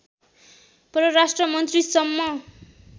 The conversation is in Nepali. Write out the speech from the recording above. परराष्ट्रमन्त्री सम्म